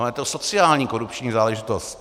Ona je to sociální korupční záležitost.